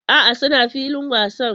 A'a, suna filin wasan